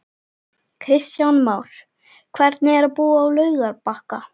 Kristján Már: Hvernig er að búa á Laugarbakka?